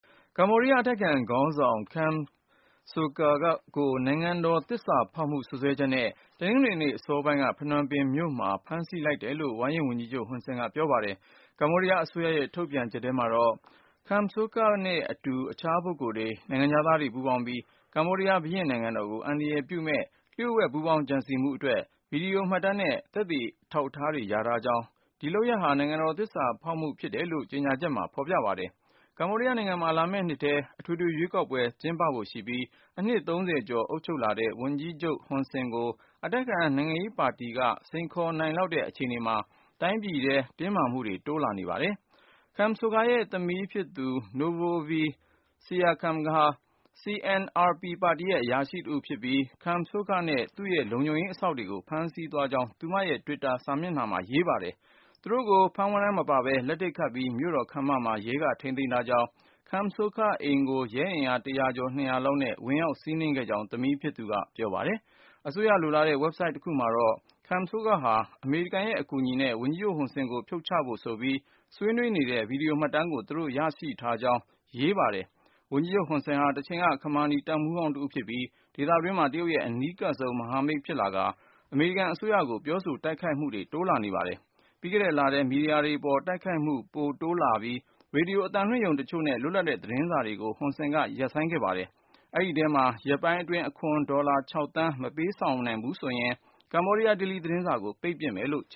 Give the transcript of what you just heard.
ကမ္ဘောဒီးယား အတိုက်အခံခေါင်းဆောင် Kem Sokha ကို နိုင်ငံတော်သစ္စာဖေါက်မှု စွပ်စွဲချက်နဲ့ တနင်္ဂနွေနေ့ အစောပိုင်းက ဖနွမ်ပင်မြို့မှာ ဖမ်းဆီးလိုက်တယ်လို့ ဝါရင့်ဝန်ကြီးချုပ် Hun Sen ဟွန်ဆန်က ပြောပါတယ်။ ကမ္ဘောဒီယားအစိုးရရဲ့ ထုတ်ပြန်ချက်ထဲမှာတော့ Kem Sokha နဲ့အတူ အခြားပုဂ္ဂိုလ်တွေ နိုင်ငံခြားသားတွေ ပူးပေါင်းပြီး၊ ကမ္ဘောဒီးယား ဘုရင့်နိုင်ငံတော်ကို အန္တရာယ်ပြုမယ့် လျှို့ဝှက်ပူးပေါင်းကြံစည်မှုအတွက် ဗွီဒီယိုမှတ်တမ်းနဲ့ သက်သေအထောက်အထားတွေ ရထားကြောင်း၊ ဒီလုပ်ရပ်တွေဟာ နိုင်ငံတော်သစ္စာဖေါက်မှုပဲ ဖြစ်တယ်လို့ ကြေညာချက်မှာ ဖေါ်ပြပါတယ်။ ကမ္ဘောဒီးယားနိုင်ငံမှာ လာမယ့်နှစ်ထဲ အထွေထွေရွေးကောက်ပွဲ ကျင်းပဖို့ရှိပြီး၊ အနှစ် ကျော်အုပ်ချုပ်လာတဲ့ ဝန်ကြီးချုပ် ဟွန်ဆန်ကို အတိုက်အခံနိုင်ငံရေးပါတီက စိန်ခေါ်နိုင်လောက်တဲ့ အခြေအနေမှာ တိုင်းပြည်ထဲ တင်းမာမှုတွေ ပိုတိုးလာနေပါတယ်။ Kem Sokha ရဲ့ သမီးဖြစ်သူ Monovithya Kem ဟာ Cambodia National Rescue ပါတီရဲ့ အရာရှိတဦးဖြစ်ပြီး Kem Sokha နဲ့ သူ့လုံခြုံရေးအစောင့်တွေကို ဖမ်းဆီးသွားကြောင်း သူမရဲ့ Twitter စာမျက်နှာမှာ ရေးပါတယ်။ သူတို့ကို ဖမ်းဝရမ်းမပါပဲ လက်ထိပ်ခတ်ပြီး မြို့တော်ခမ်းမမှာ ရဲက ထိန်းသိမ်းထားကြောင်း၊ Kem Sokha အိမ်ကို ရဲအင်အား ၁၀၀ ကျော် ၂၀၀ လောက်နဲ့ ဝင်ရောက်စီးနင်းခဲ့ကြောင်း သမီးဖြစ်သူက ပြောပါတယ်။ အစိုးရလိုလားတဲ့ ဝက်ဘ်ဆိုဒ်တခုကတော့ Kem Sokha ဟာ အမေရိကန်ရဲ့ အကူအညီနဲ့ ဝန်ကြီးချုပ်ဟွန်ဆန်ကို ဖြုတ်ချဖို့ဆိုပြီး ဆွေးနွေးနေတဲ့ ဗွီဒီယိုမှတ်တမ်းကို သူတို့ရထားကြောင်း ရေးပါတယ်။ ဝန်ကြီးချုပ်ဟွန်ဆန်ဟာ တချိန်က ခမာနီတပ်မှူးဟောင်း တဦးဖြစ်ပြီး၊ ဒေသတွင်းမှာ တရုတ်ရဲ့ အနီးကပ်ဆုံး မဟာမိတ်ဖြစ်လာကာ အမေရိကန် အစိုးရကို ပြောဆို တိုက်ခိုက်မှုတွေ လုပ်လာခဲ့ပါတယ်။ ပြီးခဲ့တဲ့လထဲမှာ မီဒီယာတွေပေါ် သူ့ရဲ့တိုက်ခိုက်မှု ပိုတိုးလာပြီး၊ ရေဒီယို အသံလွှင့်ရုံ တချို့နဲ့ လွတ်လပ်တဲ့ သတင်းစာတွေကို ဟွန်ဆန်က ရပ်ဆိုင်း ပစ်ခဲ့ပါတယ်။ အဲဒီထဲမှာ ရက်ပိုင်းအတွင်း အခွန် ဒေါ်လာ သန်း မပေးဆောင်ဘူးဆိုရင် Cambodia Daily သတင်းစာကို ပိတ်ပစ် မယ်လို့ ခ